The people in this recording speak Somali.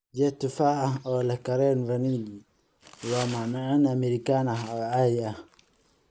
Jeex tufaax ah oo leh kareem vanilj waa macmacaan American ah oo caadi ah.